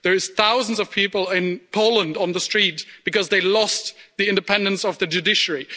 There are thousands of people in Poland on the street because they lost the independence of the judiciary.